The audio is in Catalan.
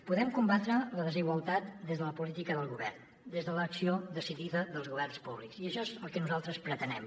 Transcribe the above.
podem combatre la desigualtat des de la política del govern des de l’acció decidida dels governs públics i això és el que nosaltres pretenem